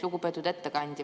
Lugupeetud ettekandja!